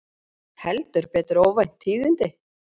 Heldur betur óvænt tíðindi